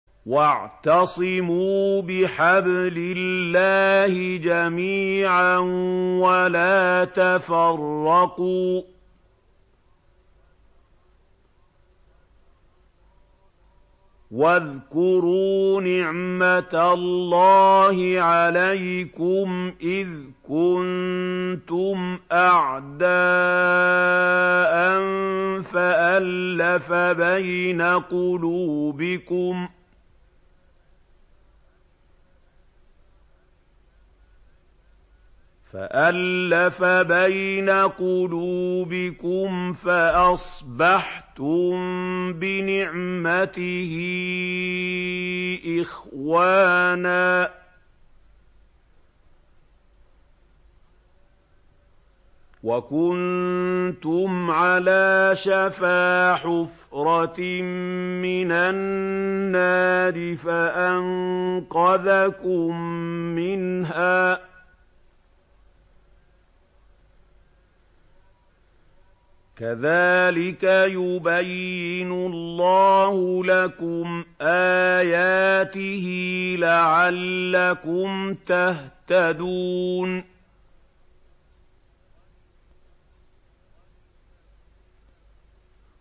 وَاعْتَصِمُوا بِحَبْلِ اللَّهِ جَمِيعًا وَلَا تَفَرَّقُوا ۚ وَاذْكُرُوا نِعْمَتَ اللَّهِ عَلَيْكُمْ إِذْ كُنتُمْ أَعْدَاءً فَأَلَّفَ بَيْنَ قُلُوبِكُمْ فَأَصْبَحْتُم بِنِعْمَتِهِ إِخْوَانًا وَكُنتُمْ عَلَىٰ شَفَا حُفْرَةٍ مِّنَ النَّارِ فَأَنقَذَكُم مِّنْهَا ۗ كَذَٰلِكَ يُبَيِّنُ اللَّهُ لَكُمْ آيَاتِهِ لَعَلَّكُمْ تَهْتَدُونَ